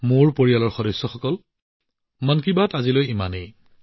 মোৰ পৰিয়ালৰ সদস্যসকল আজিৰ মন কী বাট ইমানে